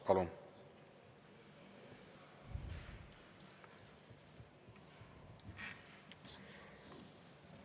Palun!